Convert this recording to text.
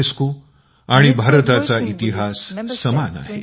UNESCO आणि भारताचा इतिहास समान आहे